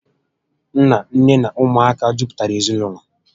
Nna, nné na ụmụaka mejupụtara ezinaụlọ